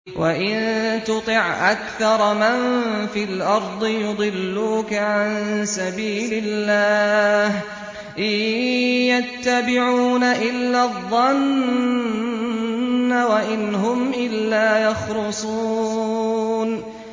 وَإِن تُطِعْ أَكْثَرَ مَن فِي الْأَرْضِ يُضِلُّوكَ عَن سَبِيلِ اللَّهِ ۚ إِن يَتَّبِعُونَ إِلَّا الظَّنَّ وَإِنْ هُمْ إِلَّا يَخْرُصُونَ